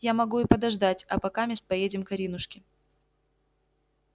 я могу и подождать а покамест поедем к аринушке